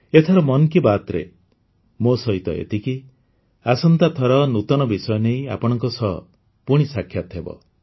ଏଥର ମନ୍ କି ବାତ୍ରେ ମୋ ସହିତ ଏତିକି ଆସନ୍ତାଥର ନୂତନ ବିଷୟ ନେଇ ଆପଣଙ୍କ ସହ ପୁଣି ସାକ୍ଷାତ ହେବ